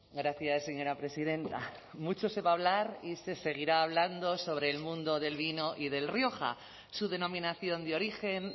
gracias señora presidenta mucho se va a hablar y se seguirá hablando sobre el mundo del vino y del rioja su denominación de origen